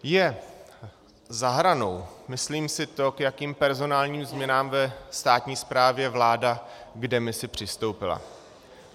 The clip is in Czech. Je za hranou, myslím si, k jakým personálním změnám ve státní správě vláda v demisi přistoupila.